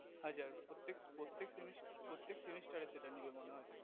হাজার প্রত্যেক প্রত্যেক সেমি প্রত্যেক semester এ সেটা নিবে মনে হয়